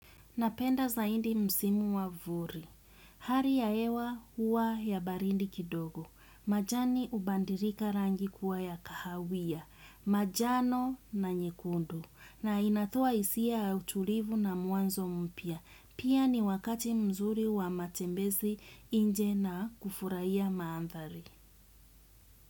Napenda zaidi msimu wa vuli. Hali ya hewa huwa ya baridi kidogo. Majani hubadilika rangi kuwa ya kahawia. Majano na nyekundu. Na inatoa hisia ya utulivu na mwanzo mpya. Pia ni wakati mzuri wa matembezi nje na kufurahia mandhari.